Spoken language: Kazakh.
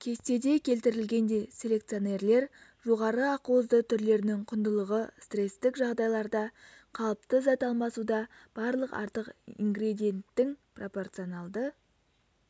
кестеде келтірілгендей селекционерлер жоғары ақуызды түрлерінің құндылығы стресстік жағдайларда қалыпты зат алмасуда барлық артық ингредиенттің пропорционалды